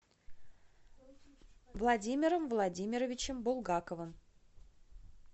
владимиром владимировичем булгаковым